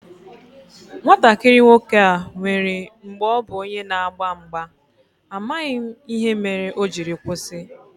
Nwatakịrị nwoke a nwèrè mgbè ọ bu onye n'agba mgba, amaghị m ihe mere o jiri kwụsị